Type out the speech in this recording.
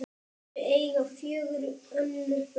Þau eiga fjögur önnur börn.